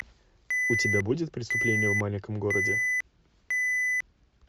у тебя будет преступление в маленьком городе